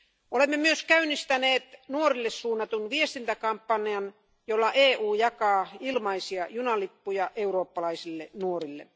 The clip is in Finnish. Olemme myös käynnistäneet nuorille suunnatun viestintäkampanjan, jolla EU jakaa ilmaisia junalippuja eurooppalaisille nuorille.